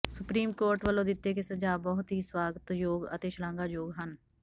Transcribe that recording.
supreme court ਵੱਲੋਂ ਦਿੱਤੇ ਗਏ ਸੁਝਾਅ ਬਹੁਤ ਹੀ ਸਵਾਗਤਯੋਗ ਅਤੇ ਸ਼ਲਾਘਾਯੋਗ ਹਨ